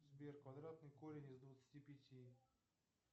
сбер квадратный корень из двадцати пяти